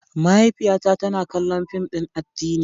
Mahaifiyata tana kallon fim din addini.